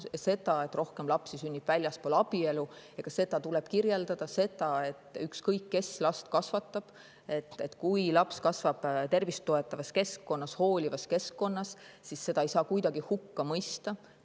Ka seda, et rohkem lapsi sünnib väljaspool abielu, tuleb kirjeldada, samuti seda, et ükskõik kes last kasvatab, seni kuni laps kasvab tervist toetavas ja hoolivas keskkonnas, ei saa kuidagi hukka mõista.